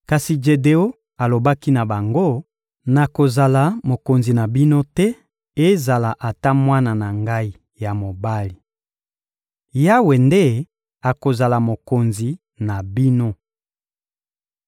Kasi Jedeon alobaki na bango: — Nakozala mokonzi na bino te, ezala ata mwana na ngai ya mobali. Yawe nde akozala mokonzi na bino.